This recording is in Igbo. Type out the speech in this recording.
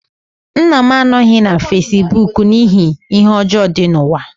Nna m anọghị na fesibuuku n'ihi ihe ọjọọ dị n'ụwa.